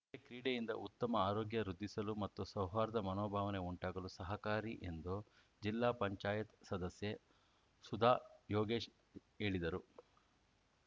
ಅಲ್ಲದೇ ಕ್ರೀಡೆಯಿಂದ ಉತ್ತಮ ಆರೋಗ್ಯ ವೃದ್ಧಿಸಲು ಮತ್ತು ಸೌಹಾರ್ದ ಮನೋಭಾವನೆ ಉಂಟಾಗಲು ಸಹಕಾರಿ ಎಂದು ಜಿಲ್ಲಾ ಪಂಚಾಯತ್ ಸದಸ್ಯೆ ಸುಧಾ ಯೋಗೇಶ್‌ ಹೇಳಿದರು